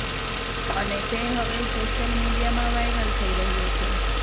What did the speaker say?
અને તે હવે સોશિયલ મીડિયામાં વાયરલ થઈ રહ્યો છે